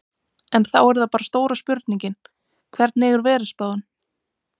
En þá er það bara stóra spurningin, hvernig er veðurspáin?